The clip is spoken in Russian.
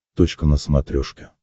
точка на смотрешке